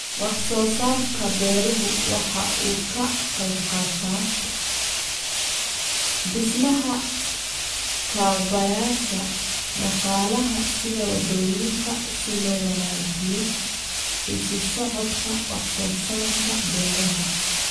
Wax soo saarka beeruhu waxa uu ka qayb qaataa dhismaha kaabayaasha dhaqaalaha sida wadooyinka si loo wanaajiyo isu socodka wax soo saarka beeraha.